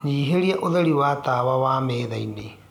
nyĩhĩaũtherĩ wa tawa wa methaĩnĩ